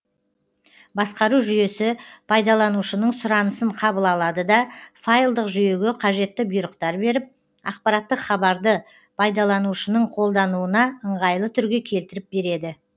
басқару жүйесі пайдаланушының сұранысын қабыл алады да файлдық жүйеге қажетті бұйрықтар беріп ақпараттық хабарды пайдаланушының қолдануына ыңғайлы түрге келтіріп береді